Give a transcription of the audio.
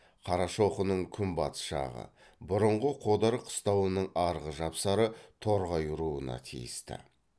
қарашоқының күнбатыс жағы бұрынғы қодар қыстауының арғы жапсары торғай руына тиісті